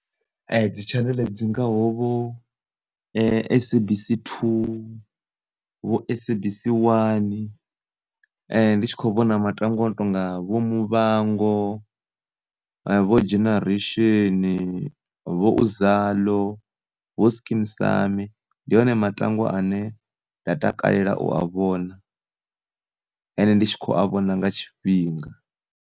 Dzi tshaneḽe dzi ngaho vho SABC 2 vho SABC 1 ndi tshi kho vhona matangwa ano tonga vho Muvhango, vho Generation, vho uzalo vho Skeem saam ndi one matangwa ane nda takalela u a vhona ende ndi tshi kho a vhona nga tshifhinga.